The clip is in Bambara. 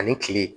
Ani kile